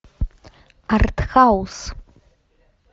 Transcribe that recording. артхаус